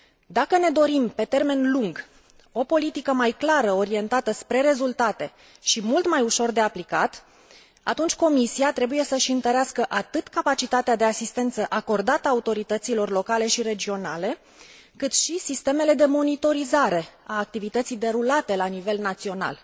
Dacă ne dorim, pe termen lung, o politică mai clară, orientată spre rezultate și mult mai ușor de aplicat, atunci Comisia trebuie să își întărească atât capacitatea de asistență acordată autorităților locale și regionale, cât și sistemele de monitorizare a activității derulate la nivel național.